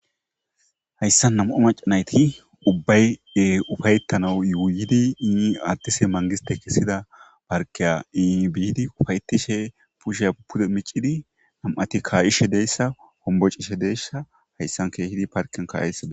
Hayssa nam'a maca nayti ubbaye ufayettanau yuwuyidi ini adtise mangiste kessida parkeya iini biidi ufayetishe pushey pude micidi nam'ati ka'ishe deessa hombo cishe deyssa hayssan keehidi parken ka'esade.